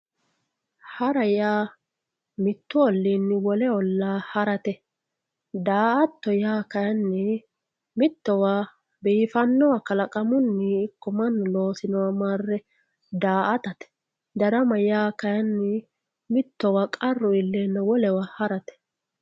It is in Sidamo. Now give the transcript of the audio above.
hara yaa mittu olliini wole ollaa harate daa"atto yaa kayiinni mittowa biifannowa kalaqamunni ikko mannu loosinoha marre daa"atate darama yaa kayiini mittowa qarru iillenna wolewa harate.